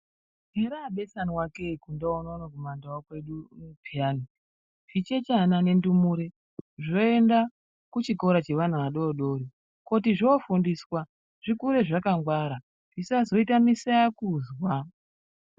Heraabesanwa kee kundau unono kumandau kwedu pheyani. Zvichechana nendumure zvoenda kuchikora cheana adodori, kuti zvoofundiswa ,zvikure zvakangwara, zvisazoita misayakuzwa.